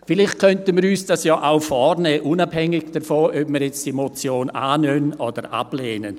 Vielleicht könnten wir uns dies auch als Vorsatz fassen, unabhängig davon, ob wir diese Motion annehmen oder ablehnen.